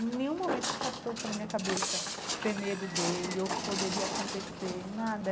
Nenhum momento se passou pela minha cabeça ter medo dele, ou o que poderia acontecer, nada.